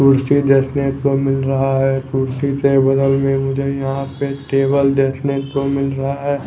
कुर्सी देखने को मिल रहा है कुर्सी के बगल में मुझे यहां पे टेबल देखने को मिल रहा --